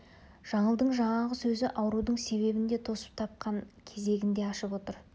жаңылдың жаңағы сөзі аурудың себебін де тосып тапқан кезегін де ашып отыр